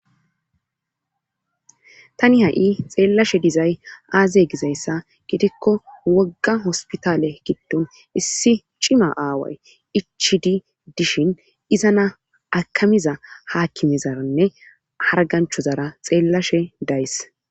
Tani ha7i xeellashe dizay aaze gizayssa gitikko wogga hospitale giddon issi cima aaway ichi di dishin iza na akamiza haakimezaranne harganchozara xeellashe days.